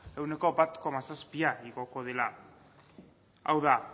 ehuneko bat koma zazpia igoko dela hau da